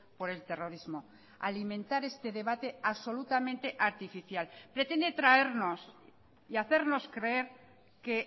por el terrorismo alimentar este debate absolutamente artificial pretende traernos y hacernos creer que